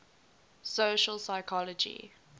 social psychology